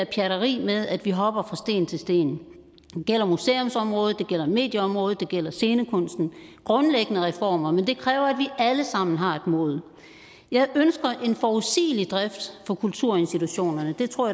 pjatteri med at vi hopper fra sten til sten det gælder museumsområdet det gælder medieområdet og det gælder scenekunsten grundlæggende reformer men det kræver at vi alle sammen har et mod jeg ønsker en forudsigelig drift på kulturinstitutionerne og det tror